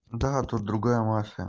да тут другая мафия